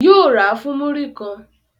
Yóò ra fún múrí kan